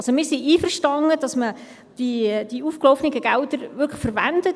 Wir sind einverstanden, dass man die aufgelaufenen Gelder wirklich verwendet.